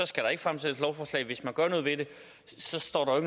skal der ikke fremsættes lovforslag hvis man gør noget ved det står der